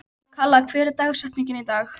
Kalla, hver er dagsetningin í dag?